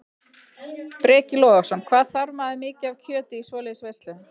Breki Logason: Hvað þarf maður mikið af kjöti í svoleiðis veislu?